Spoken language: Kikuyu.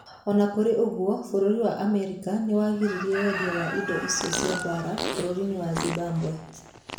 O na kũrĩ ũguo, bũrũri wa Amerika nĩ wagiririe wendia wa indo cia mbaara bũrũri-inĩ wa Zimbabwe.